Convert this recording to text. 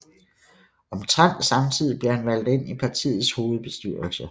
Omtrent samtidig blev han valgt ind i partiets hovedbestyrelse